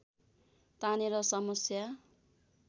तानेर समस्या